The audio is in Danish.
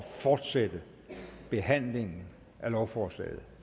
fortsætte behandlingen af lovforslaget